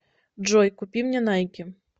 джой купи мне найки